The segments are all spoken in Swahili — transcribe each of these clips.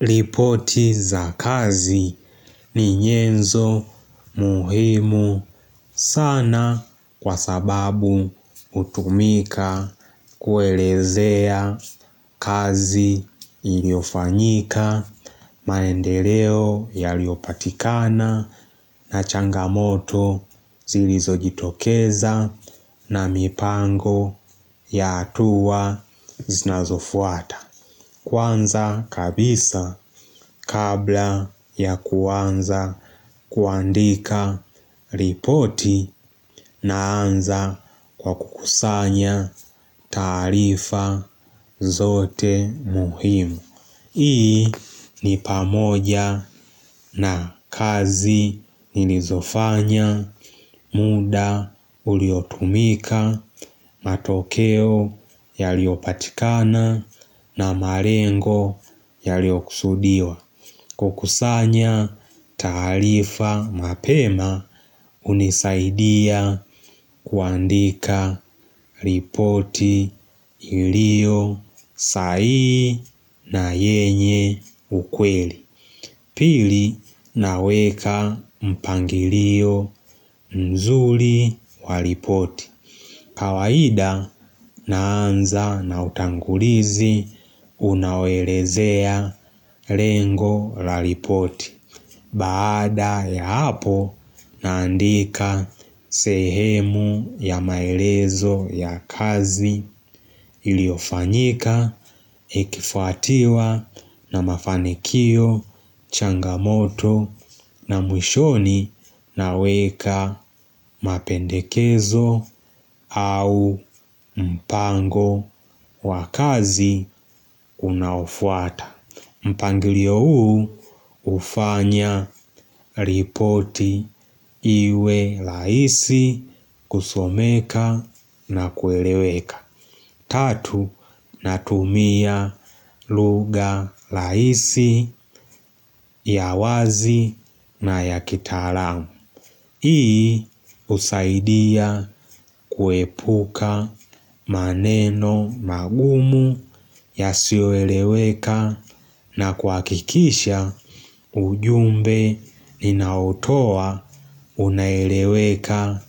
Ripoti za kazi ni nyenzo muhimu sana kwa sababu hutumika kuelezea kazi iliofanyika. Manendeleo yaliopatikana na changamoto zilizo jitokeza na mipango ya hatuwa zinazofuata. Kwanza kabisa kabla ya kuanza kuandika ripoti na anza kwa kukusanya taarifa zote muhimu. Hii ni pamoja na kazi nilizofanya, muda uliotumika, matokeo yaliopatikana na malengo yaliokusudiwa. Kukusanya taarifa mapema hunisaidia kuandika ripoti ilio sahihi na yenye ukweli. Pili naweka mpangilio mzuri walipoti. Kawaida naanza na utangulizi unaoelezea lengo la ripoti. Baada ya hapo naandika sehemu ya maelezo ya kazi iliofanyika, ikifuatiwa na mafanikio, changamoto na mwishoni naweka mapendekezo au mpango wa kazi unaofuata. Mpangilio huu hufanya ripoti iwe rahisi kusomeka na kueleweka. Tatu, natumia lugha rahisi ya wazi na ya kitalamu. Hii husaidia kuepuka maneno magumu yasioeleweka na kuhakikisha ujumbe ninaotowa unaeleweka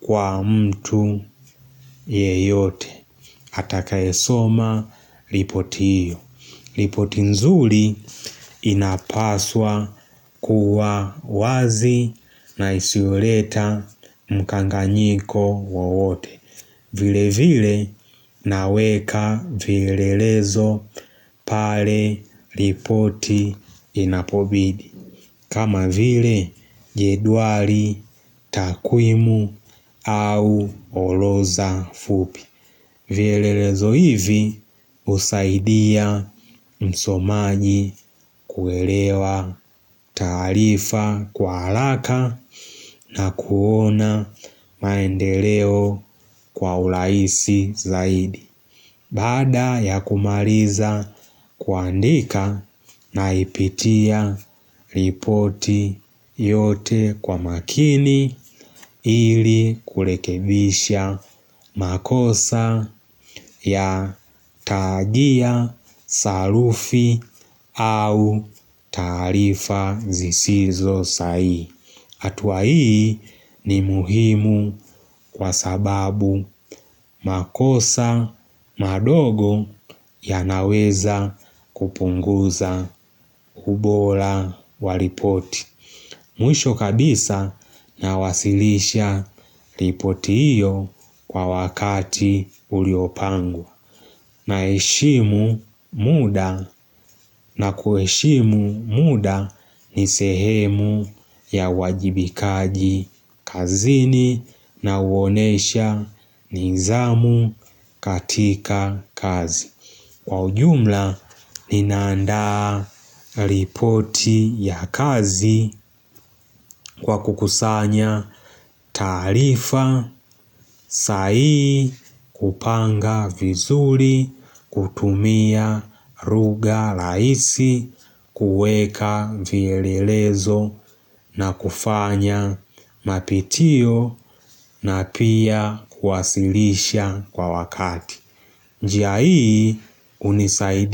kwa mtu yeyote. Atakaesoma ripoti hiyo. Ripoti nzuri inapaswa kuwa wazi na isioleta mkanganyiko wowote. Vile vile naweka vielelezo pale lipoti inapobidi. Kama vile jedwari takuimu au oloza fupi vielelezo hivi husaidia msomaji kuelewa taarifa kwa haraka na kuona maendeleo kwa ulaisi zaidi. Baada ya kumaliza kuandika naipitia ripoti yote kwa makini ili kurekebisha makosa ya taagia salufi au tarifa zisizo sahihi. Hatua hii ni muhimu kwa sababu makosa madogo yanaweza kupunguza ubora wa ripoti. Mwisho kabisa nawasilisha ripoti iyo kwa wakati uliopangwa. Naheshimu muda na kueshimu muda ni sehemu ya wajibikaji kazini na huonesha nizamu katika kazi. Kwa ujumla, ninaanda ripoti ya kazi, kwa kukusanya taarifa, sai, kupanga vizuli, kutumia lugha rahisi, kuweka vielelezo na kufanya mapitio na pia kuwasilisha kwa wakati. Njia ii, hunisaidia.